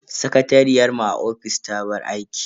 Sakatariyar mu a ofis ta bar aiki.